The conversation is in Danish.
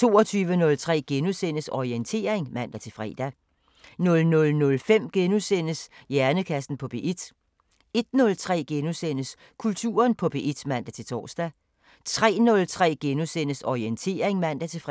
22:03: Orientering *(man-fre) 00:05: Hjernekassen på P1 * 01:03: Kulturen på P1 *(man-tor) 03:03: Orientering *(man-fre)